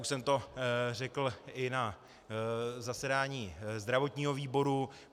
Už jsem to řekl i na zasedání zdravotního výboru.